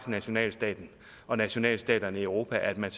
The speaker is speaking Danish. nationalstaten og nationalstaterne i europa man